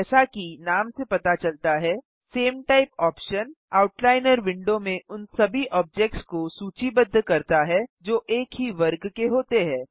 जैसा कि नाम से पता चलता है same type option outliner window में उन सभी ऑब्जेक्ट्स को सूचीबद्ध करता है जो एक ही वर्ग के होते हैं